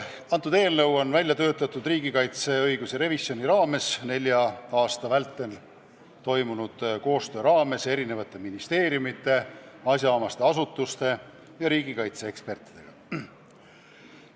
See on välja töötatud riigikaitse õigusrevisjoni raames, nelja aasta vältel tegid selle nimel koostööd eri ministeeriumid, asjaomased asutused ja riigikaitse eksperdid.